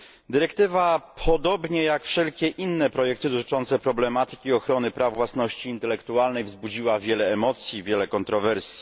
Dyrektywa, podobnie jak wszelkie inne projekty dotyczące problematyki ochrony praw własności intelektualnej, wzbudziła wiele emocji i wiele kontrowersji.